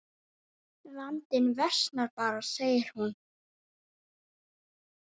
Vandinn versnar bara segir hún.